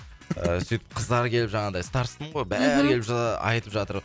ыыы сөйтіп қыздар келіп жаңағыдай старостамын ғой бәрі келіп айтып жатыр